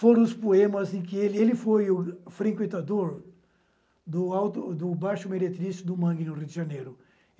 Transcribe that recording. foram os poemas em que ele... Ele foi o frequentador do baixo meritrício do Mangue, no Rio de Janeiro.